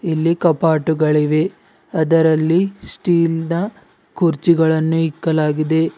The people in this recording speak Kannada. ಇಲ್ಲಿ ಕಪಾಟ್ಟುಗಳಿವೆ ಅದರಲ್ಲಿ ಸ್ಟೀಲ್ ನ ಕುರ್ಚಿಗಳನ್ನು ಇಕ್ಕಲಾಗಿದೆ.